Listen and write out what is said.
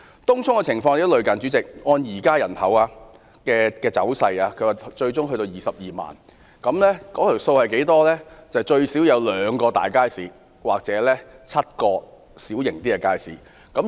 東涌的情況亦很相似，該區人口最終會增至22萬，故需要最少2個大型街市或7個小型街市。